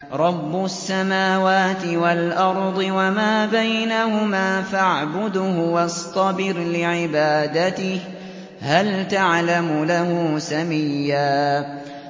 رَّبُّ السَّمَاوَاتِ وَالْأَرْضِ وَمَا بَيْنَهُمَا فَاعْبُدْهُ وَاصْطَبِرْ لِعِبَادَتِهِ ۚ هَلْ تَعْلَمُ لَهُ سَمِيًّا